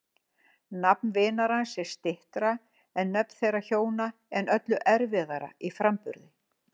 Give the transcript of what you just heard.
Nafn vinar hans er styttra en nöfn þeirra hjóna en öllu erfiðara í framburði.